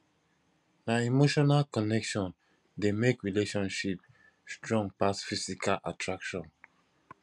na emotional connection dey make relationship strong pass physical attraction